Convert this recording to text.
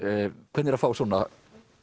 hvernig er að fá svona